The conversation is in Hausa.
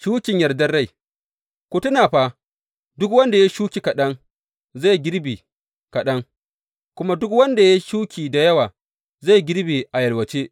Shukin yardar rai Ku tuna fa, duk wanda ya yi shuki kaɗan zai girbe kaɗan, kuma duk wanda ya yi shuki da yawa, zai girbe a yalwace.